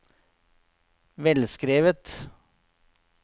velskrevet